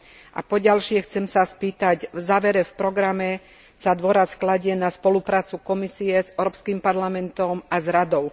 A po ďalšie, chcem sa spýtať v závere v programe sa dôraz kladie na spoluprácu Komisie s Európskym parlamentom a s Radou.